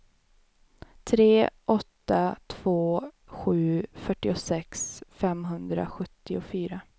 tre åtta två sju fyrtiosex femhundrasjuttiofyra